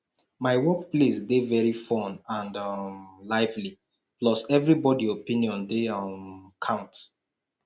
my workplace dey very fun and um lively plus everybody opinion dey um count